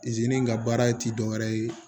zeni in ka baara ye tidɔ ye